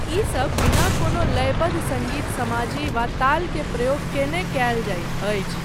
ईसब बिना कोनो लयबद्ध सङ्गीत समाजी वा ताल के प्रयोग कयने कयल जाइत अछि।